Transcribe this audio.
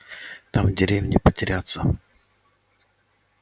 там в деревне потеряться